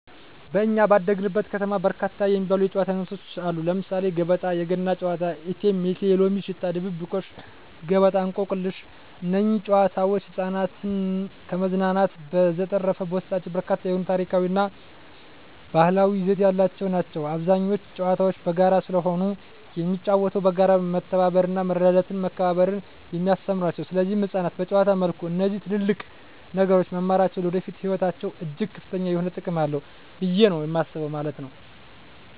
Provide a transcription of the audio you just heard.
በኛ ባደግንበት ከተማ በርካታ የሚባሉ የጨዋታ አይነቶች አሉ ለምሳሌ ገበጣ: የገና ጨዋታ እቴሜቴ የሎሚ ሽታ ድብብቆሽ ገበጣ እንቆቅልሽ እነዚህ ጨዋታዎች ህፃናትን ከማዝናናት በዠተረፈ በውስጣቸው በርካታ የሆነ ታሪካዊ እና ባህላዊ ይዘት ያላቸው ናቸው አብዛኞቹ ጨዋታዎች በጋራ ስለሆነ የሚጫወተው በጋራ መተባበርና መረዳዳትና መከባበርን የሚያስተምሩ ናቸው ሰለዚህ ህፃናት በጨዋታ መልኩ እነዚህ ትልልቅ ነገሮች መማራቸው ለወደፊቱ ህይወታቸው እጅግ ከፍተኛ የሆነ ጥቅም አለው ብየ ነው የማስበው ማለት ነው።